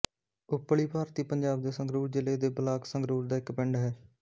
ਉੱਪਲੀ ਭਾਰਤੀ ਪੰਜਾਬ ਦੇ ਸੰਗਰੂਰ ਜ਼ਿਲ੍ਹੇ ਦੇ ਬਲਾਕ ਸੰਗਰੂਰ ਦਾ ਇੱਕ ਪਿੰਡ ਹੈ